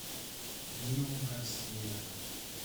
нио гарсия